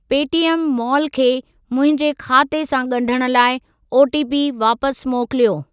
Paytm Mall खे मुंहिंजे खाते सां ॻंढण लाइ ओटीपी वापसि मोकिलियो।